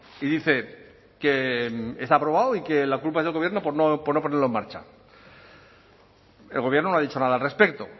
y dice que está aprobado y que la culpa es del gobierno por no ponerlo en marcha el gobierno no ha dicho nada al respecto